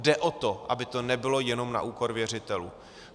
Jde o to, aby to nebylo jenom na úkor věřitelů.